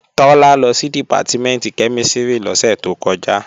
Tọ́lá lọ sí Dìpátímẹ̀ntì kẹ́mísìrì lọ́sẹ̀ tó kọjá